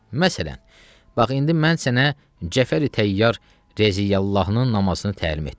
Məsələn, bax indi mən sənə Cəfəri Təyyar Rəziyallahının namazını təlim etdim.